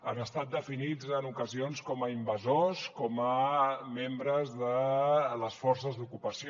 han estat definits en ocasions com a invasors com a membres de les forces d’ocupació